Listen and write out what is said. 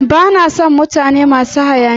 Ba na sn mutane masu hayaniya.